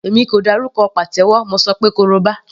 Èmi kò dárúkọ pàtẹ́wọ́, mo ṣọ pé koroba.